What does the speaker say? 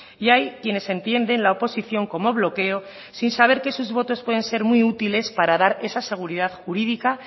y hay quienes entienden la oposición como bloqueo sin saber que sus votos pueden ser muy útiles para dar esa seguridad jurídica